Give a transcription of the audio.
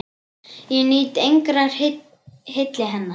Ég nýt engrar hylli hennar!